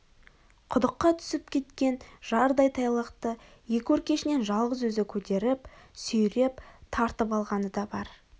құдыққа түсіп кеткен жардай тайлақты екі өркешінен жалғыз өзі көтеріп сүйреп тартып алғаны да бар